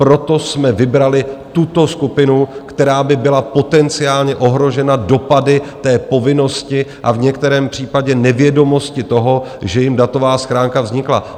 Proto jsme vybrali tuto skupinu, která by byla potenciálně ohrožena dopady té povinnosti a v některém případě nevědomosti toho, že jim datová schránka vznikla.